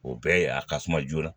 O bɛɛ ye a ka suma joona